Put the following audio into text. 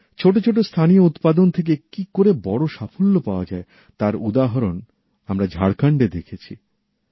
ছোট ছোট স্থানীয় উৎপাদন থেকে কি করে বড় সাফল্য পাওয়া যায় তার উদাহরণ আমরা ঝাড়খণ্ডে দেখেছি